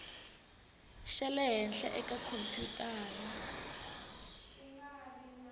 xa le henhla eka khompyutara